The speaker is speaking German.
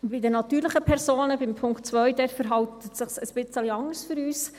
Bei den natürlichen Personen, beim Punkt zwei, verhält es sich für uns etwas anders.